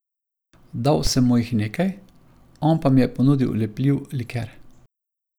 Dal sem mu jih nekaj, on pa mi je ponudil lepljiv liker.